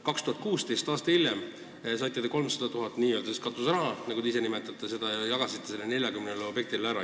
2016, aasta hiljem, saite te 300 000 eurot katuseraha, nagu te seda ise nimetate, ja jagasite selle 40 objekti peale ära.